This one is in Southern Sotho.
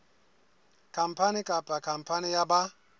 khampani kapa khampani ya ba